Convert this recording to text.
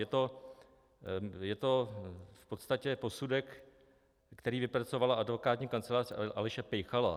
Je to v podstatě posudek, který vypracovala advokátní kancelář Aleše Pejchala.